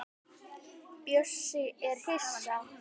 Bjössi er hissa.